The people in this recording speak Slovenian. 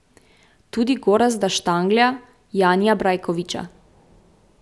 Tudi Gorazda Štanglja, Janija Brajkoviča.